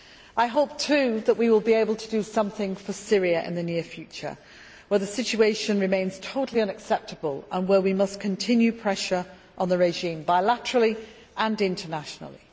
I hope too that we will be able to do something for Syria in the near future, where the situation remains totally unacceptable and where we must continue pressure on the regime bilaterally and internationally.